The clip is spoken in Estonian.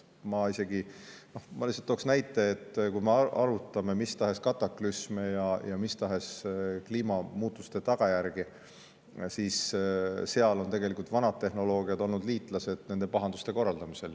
Ma lihtsalt tooksin näite, et kui me arutame mis tahes kataklüsme ja kliimamuutuste tagajärgi, siis vanad tehnoloogiad on olnud seal liitlased nende pahanduste korraldamisel.